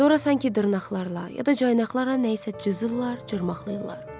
Sonra sanki dırnaqlarla ya da caynaqlarla nəyisə cızırlar, cırmaqlayırlar.